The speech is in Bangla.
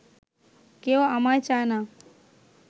কেউ আমায় চায় না